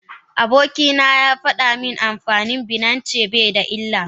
Abokina yafada min amfani da binance baida illa.